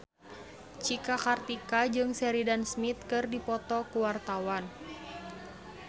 Cika Kartika jeung Sheridan Smith keur dipoto ku wartawan